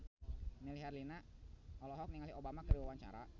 Melly Herlina olohok ningali Obama keur diwawancara